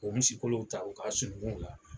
Ɔ o misikolow ta u ka sunukunw la